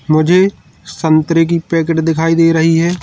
मुझे संतरे की पैकेट दिखाई दे रही है।